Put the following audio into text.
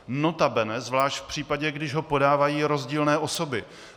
Notabene zvlášť v případě, když ho podávají rozdílné osoby.